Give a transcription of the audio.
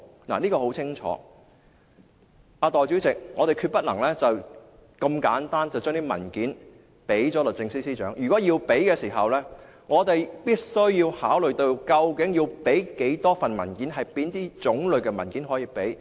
代理主席，我們決不能如此簡單便把文件交給律政司司長，如果要提交，我們必須要考慮究竟要提供多少份文件，以及哪種類的文件可以提供。